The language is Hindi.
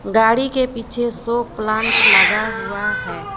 गाड़ी के पीछे शो प्लांट लगा हुआ है।